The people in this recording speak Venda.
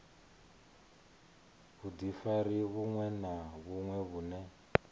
vhudifari vhuṅwe na vhuṅwe vhune